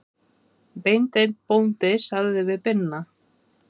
Beinteinn bóndi sagði við Binna